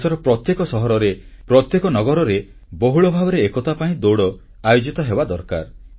ଦେଶର ପ୍ରତ୍ୟେକ ସହରରେ ପ୍ରତ୍ୟେକ ନଗରରେ ବହୁଳ ଭାବରେ ଏକତା ପାଇଁ ଦୌଡ ଆୟୋଜିତ ହେବା ଦରକାର